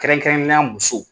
Kɛrɛnkɛrɛnnenya la musow.